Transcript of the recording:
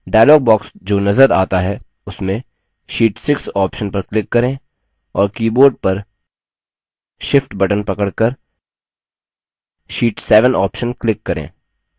dialog box जो नज़र आता है उसमें sheet 6 option पर click करें और keyboard पर shift button पकड़कर sheet 7 option click करें